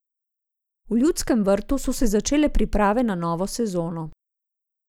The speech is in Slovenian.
V Ljudskem vrtu so se začele priprave na novo sezono.